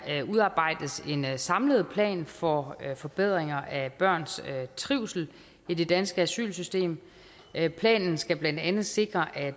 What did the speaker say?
der udarbejdes en samlet plan for forbedringer af børns trivsel i det danske asylsystem planen skal blandt andet sikre at